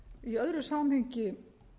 í öðru samhengi